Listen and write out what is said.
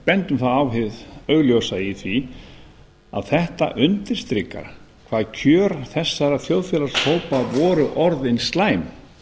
vegar á það augljósa í því að þetta undirstrikar hvað kjör þessara þjóðfélagshópa voru orðin slæm